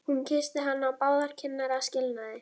Hún kyssti hann á báðar kinnar að skilnaði.